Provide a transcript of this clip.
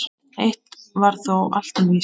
Eitt var þó alltaf víst.